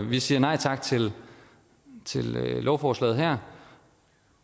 vi siger nej tak til lovforslaget her